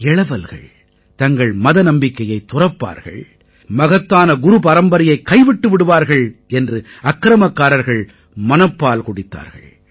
இளவல்கள் தங்கள் மத நம்பிக்கையைத் துறப்பார்கள் மகத்தான குரு பரம்பரையைக் கைவிட்டு விடுவார்கள் என்று அக்கிரமக்காரர்கள் மனப்பால் குடித்தார்கள்